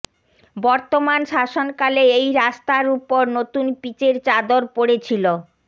বর্তমান শাসনকালেই এই রাস্তার উপর নতুন পিচের চাদর পড়েছিল